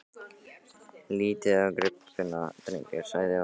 Lítið á gripina, drengir! sagði Valdimar.